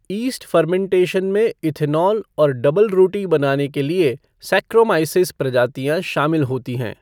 East fermentation में ethanol और डबलरोटी बनाने के लिए सैक्रोमाइसीस प्रजातियां शामिल होती हैं।